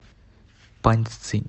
паньцзинь